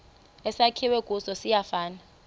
esakhiwe kuso siyafana